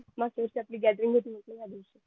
मागच्या वर्षी आपली gathering होती